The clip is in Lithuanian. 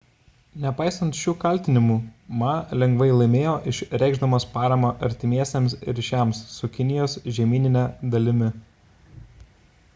nepaisant šių kaltinimų ma lengvai laimėjo išreikšdamas paramą artimesniems ryšiams su kinijos žemynine dalimi